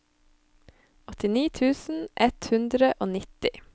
åttini tusen ett hundre og nitti